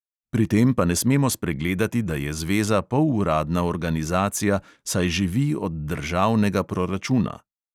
Pri tem pa ne smemo spregledati, da je zveza poluradna organizacija, saj živi od državnega proračuna.